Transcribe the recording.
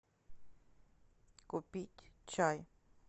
купить чай